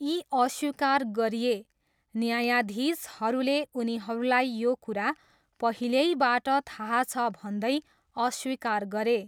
यी अस्वीकार गरिए, न्यायाधीशहरूले उनीहरूलाई यो कुरा पहिल्यैबाट थाहा छ भन्दै अस्वीकार गरे।